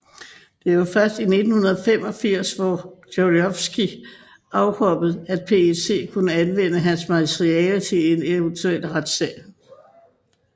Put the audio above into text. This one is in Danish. Det var først i 1985 hvor Gordijevskij afhoppede at PET kunne anvende hans materiale i en eventuel retssag